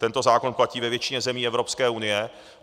Tento zákon platí ve většině zemí Evropské unie.